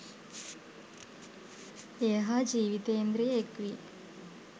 එය හා ජිවිතින්ද්‍රිය එක්වී